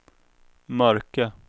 mörka